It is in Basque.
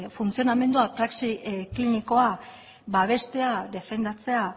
funtzionamendua praxi klinikoa babestea defendatzea